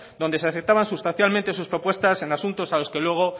donde se aceptaban sustancialmente sus propuestas en asuntos a los que luego